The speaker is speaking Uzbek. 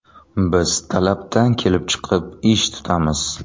Biz talabdan kelib chiqib, ish tutamiz.